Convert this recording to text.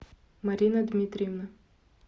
марина дмитриевна